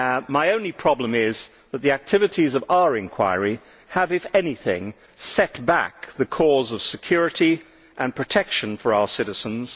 My only problem is that the activities of our inquiry have, if anything, set back the cause of security and protection for our citizens.